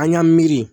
An y'an miiri